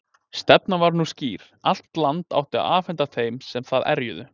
Stefnan var nú skýr: Allt land átti að afhenda þeim sem það erjuðu.